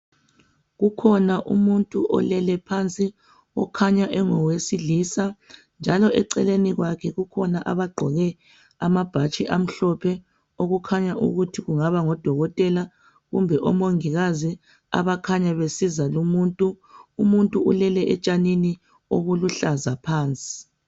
Kukhona umuntu olele phansi. Okhanya engowesilisa, njalo eceleni kwakhe, kukhona abagqoke amabhatshi amhlophe. Okukhanya ukuthi kungaba ngodokotela, kumbe omongikazi. Abakhanya besiza lumuntu. Umuntu ulele etshanini, obuluhlaza phansi.